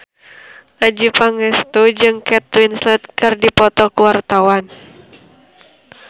Adjie Pangestu jeung Kate Winslet keur dipoto ku wartawan